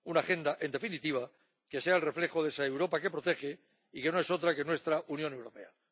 una agenda, en definitiva, que sea el reflejo de esa Europa que protege y que no es otra que nuestra Unión Europea.